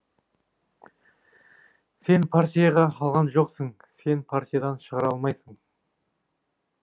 сен партияға алған жоқсың сен партиядан шығара алмайсың